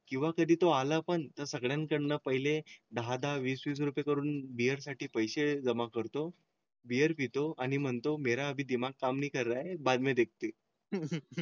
किंवा कधी तो आला पण त्या सगळ्यांकडून पहिले दहा दहा वीस वीसकरून साठी पैसे जमा करतो. बिअर पितो आणि म्हणतो, मेरा दिमाग काम नाही करा हे बाद में देखते.